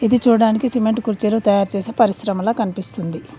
ఇది చూడానికి సిమెంట్ కుర్చీలు తయారు చేసే పరిశ్రమలా కనిపిస్తుంది